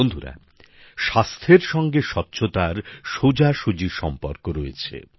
বন্ধুরা স্বাস্থ্যের সঙ্গে স্বচ্ছতার সোজাসুজি সম্পর্ক রয়েছে